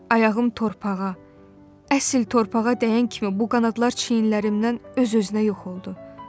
Ayağım torpağa, əsl torpağa dəyən kimi bu qanadlar çiyinlərimdən öz-özünə yox oldu.